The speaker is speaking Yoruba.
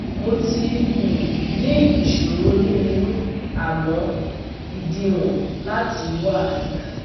Mo ti um ní ìṣòro ní inú, àmọ́ ìdíwọ̀n láti wà dà